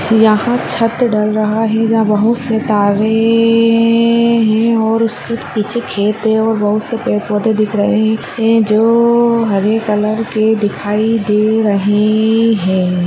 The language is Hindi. यहाँ छत डल रहा है यहाँ बहुत से तारे ए ए ए है और उसके पिछे खेत है और बहुत से पेड़-पौधे दिख रहे है जो हरे कलर के दिखाई दे रहे...... है।